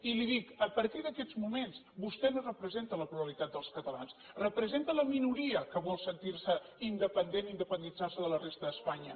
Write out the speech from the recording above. i li dic a partir d’aquests moments vostè no representa la pluralitat dels catalans representa la minoria que vol sentir se independent i independitzar se de la resta d’espanya